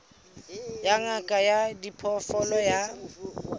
ya ngaka ya diphoofolo ya